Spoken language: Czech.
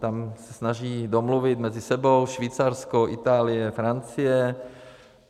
Tam se snaží domluvit mezi sebou Švýcarsko, Itálie, Francie.